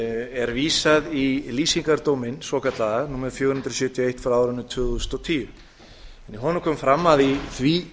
er vísað í lýsingardóminn svokallaða númer fjögur hundruð sjötíu og eitt tvö þúsund og tíu í honum kom fram að í því